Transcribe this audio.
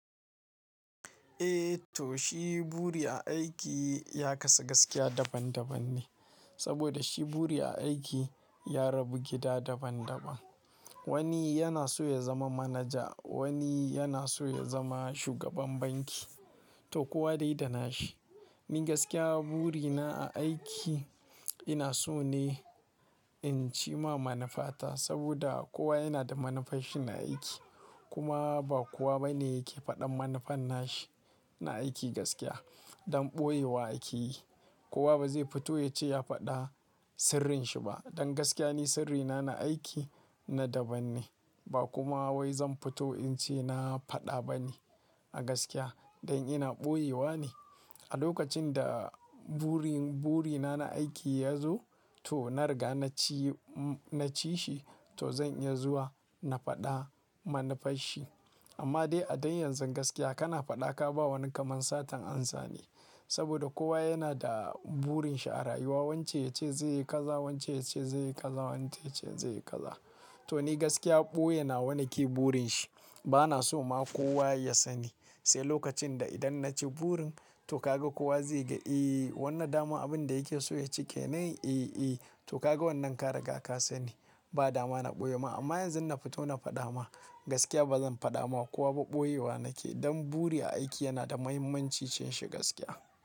Eh to shi buri a aiki ya kasu gaskiya daban-daban ne, saboda shi buri a aiki ya rabu gida daban -daban. Wani yana so ya zama manaja, wani yana so ya zama shugaban banki, to kowa dai da nasa. Ni gaskiya burina a aiki ina so ne in cimma manufata saboda kowa yana da manufarsa ta aiki. Kuma ba kowa ba ne yake faɗin manufar tasa na aiki gaskiya, don ɓoyewa ake yi. Kowa ba zai fito ya ce ya faɗa sirrinshi ba. Don gaskiya ni sirrina na aiki na daban ne ba kuma wai zan fito in ce na faɗa ba ne a gaskiya don ina ɓoyewa ne. A lokacin da burina na aiki ya zo to na riga na ci shi to zan iya zuwa na faɗi manufarsa. Amma dai a yanzu gaskiya kana faɗa ka ba wani kamar satar amsa ne. Saboda kowa yana da burinsa a rayuwa wancan yace zai yi kaza, wancan yace zai yi kaza, wancan yace zai yi kaza. To ni gaskiya ɓoye nawa nake burin sa. Bana so ma kowa ya sani. Sai lokacin da idan na ci burin to ka ga kowa zai ga, ee wannan dama abin da yake so ya ci kenan? Ee, ee to ka ga wannan ka riga ka sani. Ba dama na ɓoye ma amma yanzu na fito na faɗa ma gaskiya ba zan faɗa wa kowa ba ɓoyewa nake. Don buri a aiki yana da mahimmanci shi gaskiya.